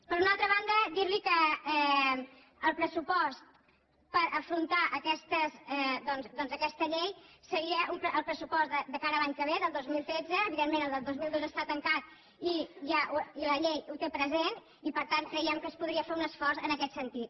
per una altra banda dir·li que el pressupost per afron·tar doncs aquesta llei seria el pressupost de cara a l’any que ve del dos mil tretze evidentment el del dos mil dotze està tancat i la llei ho té present i per tant creiem que es podria fer un esforç en aquest sentit